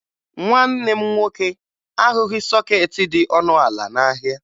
Nwanne m nwoke ahụghị sọkeetị dị ọnụ ala n'ahịa